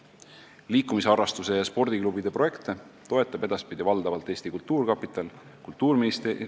Liikumisharrastuse ja spordiklubide projekte toetab edaspidi valdavalt Eesti Kultuurkapital.